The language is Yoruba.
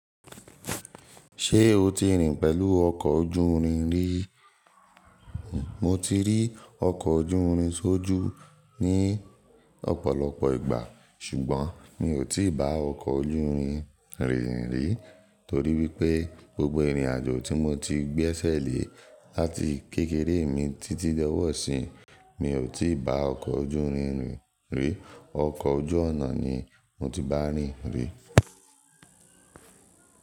Ṣé o ti rìn pẹ̀lú ọkọ̀ ojú rin rí? Mo ti rí ọkọ̀ ojú rin sójú ní ọ̀pọ̀lọpọ̀ ìgbà ṣùgbọ́n mi ò tí ì bá ọkọ̀ ojú rin rìn rí torí wípé gbogbo ìrìnàjò tí mo ti gbẹ́sẹ̀ lé láti kékeré mi títí dọ́wọ́ọ̀sí mi ò tí ì bá ọkọ̀ ojú rin rìn rí. Ọkọ̀ ojú ọ̀nà ni mo ti bá rìn rí.